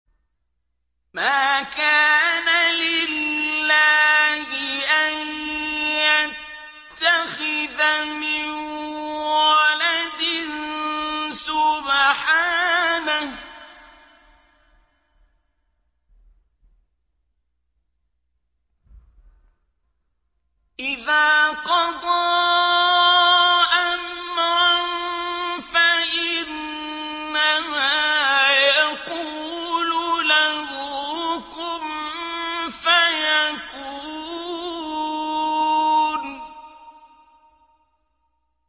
مَا كَانَ لِلَّهِ أَن يَتَّخِذَ مِن وَلَدٍ ۖ سُبْحَانَهُ ۚ إِذَا قَضَىٰ أَمْرًا فَإِنَّمَا يَقُولُ لَهُ كُن فَيَكُونُ